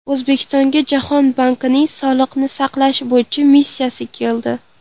O‘zbekistonga Jahon bankining sog‘liqni saqlash bo‘yicha missiyasi keldi.